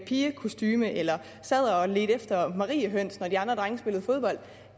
pigekostume eller sad og ledte efter mariehøns når de andre drenge spillede fodbold